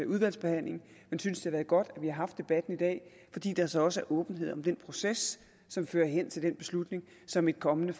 udvalgsbehandlingen jeg synes det er godt at vi har haft debatten i dag fordi der så også er åbenhed om den proces som fører hen til den beslutning som et kommende